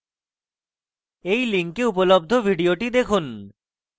এই link উপলব্ধ video দেখুন